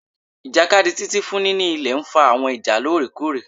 Ijakadi Titi fun nini ilẹ nfa awọn ija loorekoore